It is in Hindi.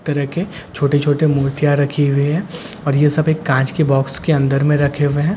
तड़के छोटे छोटे मूर्तिया रखी हुई है और ईये सब एक कच के बॉक्स के अंदर मैं रखे हुए है जिसे आ--